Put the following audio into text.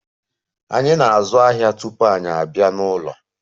Anyị na-azụ ahịa tupu anyị abịa n'ụlọ.